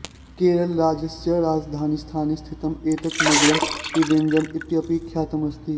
केरळराज्यस्य राजधानीस्थाने स्थितम् एतत् नगरम् त्रिवेण्ड्रम् इत्यपि ख्यातम् अस्ति